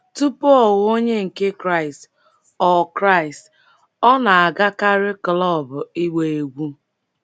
Tupu ọ ghọọ Onye nke Kraịst, ọ Kraịst, ọ na-agakarị klọb ịgba egwú.